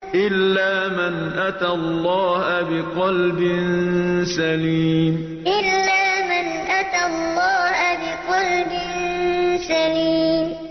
إِلَّا مَنْ أَتَى اللَّهَ بِقَلْبٍ سَلِيمٍ إِلَّا مَنْ أَتَى اللَّهَ بِقَلْبٍ سَلِيمٍ